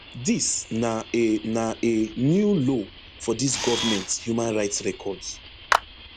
dis na a na a new low for dis government human rights records